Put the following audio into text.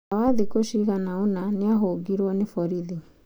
Thutha wa thikũ cigana ũna nĩ ahũngirwo nĩ borithi.